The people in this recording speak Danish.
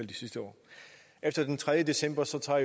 de sidste år efter den tredje december tager tager